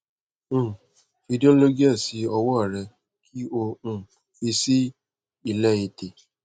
um fi dologel si ọwọ rẹ ki o um fi si ilẹ ètè